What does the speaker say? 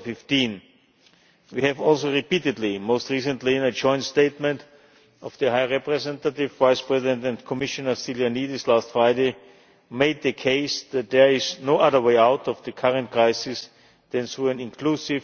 2015. We have also repeatedly most recently in a joint statement by the High Representative Vice President and Commissioner Stylianides last Friday made the case that there is no other way out of the current crisis than through an inclusive